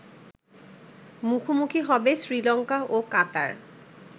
মুখোমুখি হবে শ্রীলঙ্কা ও কাতার